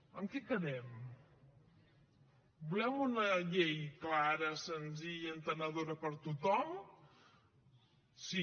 en què quedem volem una llei clara senzilla entenedora per a tothom sí